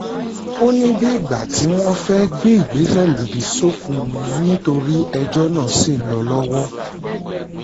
ó ní bíi ìgbà tí wọ́n fẹ́ẹ́ gbé ìgbésẹ̀ lòdì sófin ni nítorí ẹjọ́ náà ṣì ń lọ lọ́wọ́